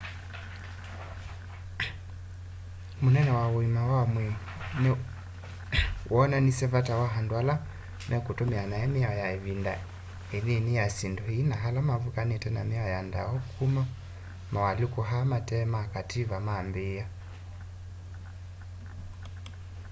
munene wa uima wa mwii ni wonanisye vata wa andu ala mekutumia nai miao ya ivinda inini ya syindu ii na ala mavukanite na miao ya ndawa kuma mawalyuku aa mate ma kativa maambia